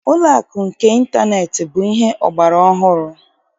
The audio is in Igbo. Ụlọakụ nke ịntaneetị bụ ihe ọgbaraọhụrụ